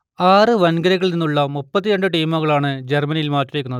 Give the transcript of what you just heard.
ആറു വൻകരകളിൽ നിന്നുള്ള മുപ്പത്തി രണ്ട് ടീമുകളാണ് ജർമ്മനിയിൽ മാറ്റുരയ്ക്കുന്നത്